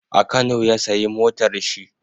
A kano ya sayi motar shi.